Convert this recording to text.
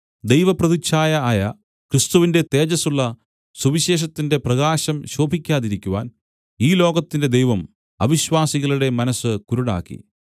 ദൈവപ്രതിച്ഛായ ആയ ക്രിസ്തുവിന്റെ തേജസ്സുള്ള സുവിശേഷത്തിന്റെ പ്രകാശം ശോഭിക്കാതിരിക്കുവാൻ ഈ ലോകത്തിന്റെ ദൈവം അവിശ്വാസികളുടെ മനസ്സ് കുരുടാക്കി